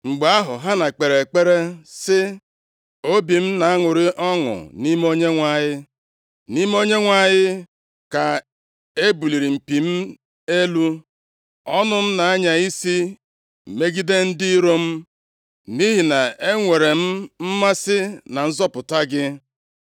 Mgbe ahụ Hana kpere ekpere sị: “Obi m na-aṅụrị ọṅụ nʼime Onyenwe anyị; nʼime Onyenwe anyị ka e buliri mpi + 2:1 Nʼebe a, mpi na-akọwa maka ike m elu. Ọnụ m na-anya isi megide ndị iro m, nʼihi na-enwere m mmasị na nzọpụta gị.